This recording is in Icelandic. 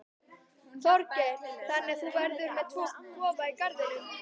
Þorgeir: Þannig að þú verður með tvo kofa í garðinum?